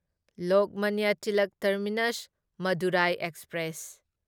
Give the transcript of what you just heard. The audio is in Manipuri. Lokmanya Tilak terminus Madurai express